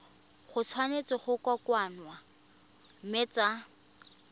tshwanetse go kokoanngwa mme tsa